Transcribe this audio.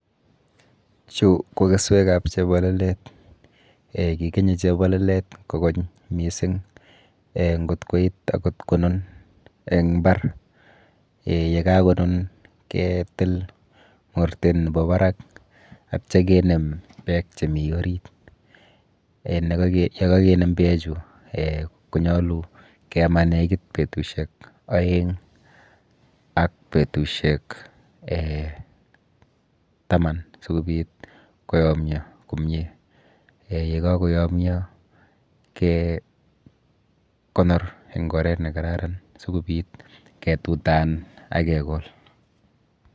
Chu ko keswekap chepololet. um Kikenye chepololet kokony mising um nkot koit akot konun eng mbar um yekakonun ketil mortet nepo barak atya kenem beek chemi orit. um yekakenem beechu um konyolu kema nekit betushek oeng ak betushek[um] taman sikobit koyomyo komie. um Yekakoyomio kekonor eng oret nekararan sikobit ketutan akekol.